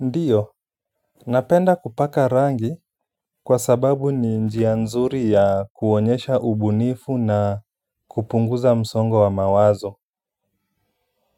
Ndiyo, napenda kupaka rangi kwa sababu ni njia nzuri ya kuonyesha ubunifu na kupunguza msongo wa mawazo.